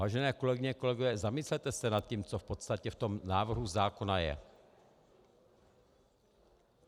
Vážené kolegyně, kolegové, zamyslete se nad tím, co v podstatě v tom návrhu zákona je.